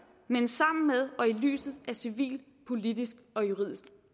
men sammen med og i lyset af civil politisk og juridisk